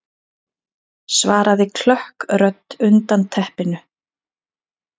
svaraði klökk rödd undan teppinu.